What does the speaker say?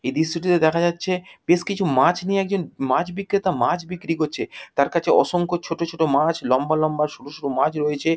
এই দৃশ্যটিতে দেখা যাচ্ছে বেশ কিছু মাছ নিয়ে একজন মাছ বিক্রেতা মাছ বিক্রি করছে তার কাছে অসংখ্য ছোট ছোট মাছ লম্বা লম্বা সরু সরু মাছ রয়েছে।